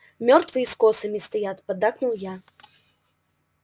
мёртвые с косами стоят поддакнул я